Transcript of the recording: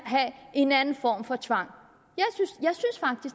have en anden form for tvang